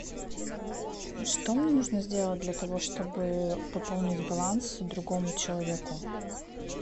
что мне нужно сделать для того чтобы пополнить баланс другому человеку